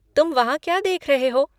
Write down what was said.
तुम वहाँ क्या देख रहे हो?